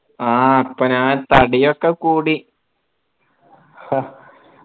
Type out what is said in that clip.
ആ ഇപ്പൊ ഞാൻ തടിയൊക്കെ കൂടി